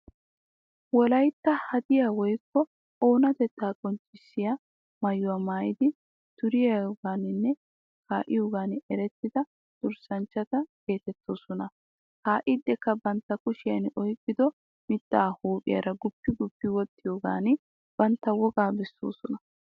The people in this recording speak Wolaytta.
Wolaytta hadiyaa woykko oonatetta qonccissiya maayuwa maayidi duriyogaaninne kaa'iyogan erettida durssanchchata geetettoosona. kaa'iidikka bantta kushiyan oyqqido mittaa huuphiyaara guppi guppi woxxiyogan bantta wogaa bessoosona.